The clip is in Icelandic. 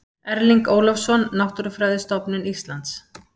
Erling Ólafsson, Náttúrufræðistofnun Íslands.